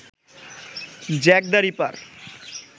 Jack the reaper